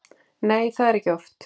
Nei, það er ekki oft.